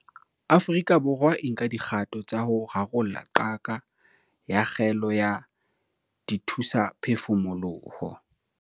Afrika Borwa e nka dikgato tsa ho rarolla qaka ya kgaello ya dithusaphefumoloho